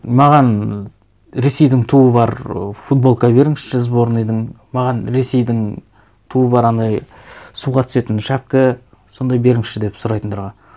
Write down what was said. маған ресейдің туы бар ы футболка беріңізші сборныйдың маған ресейдің туы бар анандай суға түсетін шапқа сондай беріңізші деп сұрайтындарға